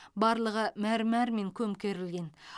барлығы мәрмәрмен көмкерілген